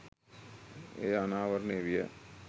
එය අනාවරණය විය